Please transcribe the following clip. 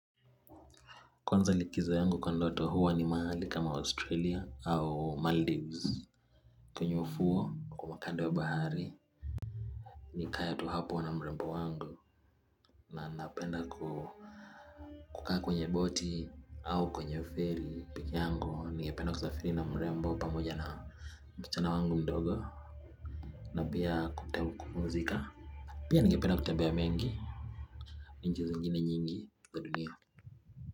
Kwanza likizo yangu kwa ndoto huwa ni mahali kama Australia au Maldives. Kwenye ufuo kama kando wa bahari nikae tu hapo na mrembo wangu na napenda kukaa kwenye boti au kwenye feri peke yangu nigependa kusafiri na mrembo pamoja na msichana wangu mdogo na pia kupumuzika. Pia ningependa kutembea mengi nchi zingine nyingi kwa dunia.